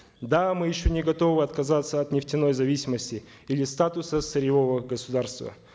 да мы еще не готовы отказаться от нефтяной зависимости или статуса сырьевого государства